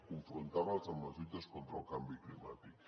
confrontar les amb les lluites contra el canvi climàtic